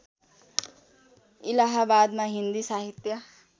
इलाहाबादमा हिन्दी साहित्य